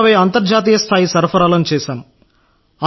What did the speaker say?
160 అంతర్జాతీయస్థాయి సరఫరాలను చేశాం